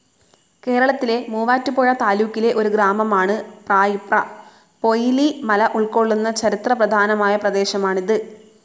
കേരളത്തിലെ മുവാറ്റുപുഴ താലൂക്കിലെ ഒരു ഗ്രാമമാണ് പ്രായിപ്ര. പൊയ്ലി മല ഉൾകൊള്ളുന്ന ചരിത്ര പ്രധാനമായ പ്രദേശമാണിത്.